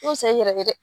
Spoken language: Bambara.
yɛrɛ